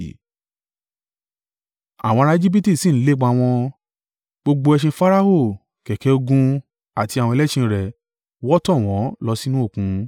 Àwọn ará Ejibiti sì ń lépa wọn, gbogbo ẹṣin Farao, kẹ̀kẹ́ ogun àti àwọn ẹlẹ́ṣin rẹ̀ wọ́ tọ̀ wọ́n lọ sínú òkun.